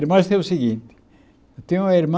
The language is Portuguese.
Irmãs é o seguinte, eu tenho uma irmã